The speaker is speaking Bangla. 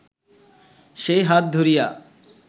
সেই হাত ধরিয়া